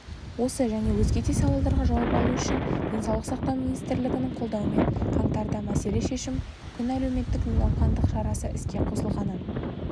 осы және өзге де сауалдарға жауап алу үшін денсаулық сақтау министрлігінің қолдауымен қаңтарда мәселе шешім күн әлеуметтік науқандық шарасы іске қосылғанын